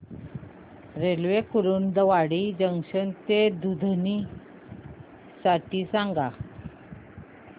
railway Kurduwadi junction ते दुधनी साठी सांगा